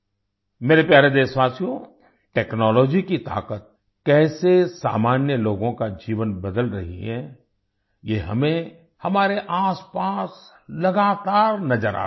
मेरे प्यारे देशवासियो टेक्नोलॉजी की ताकत कैसे सामान्य लोगों का जीवन बदल रही है ये हमें हमारे आसपास लगातार नजर आ रहा है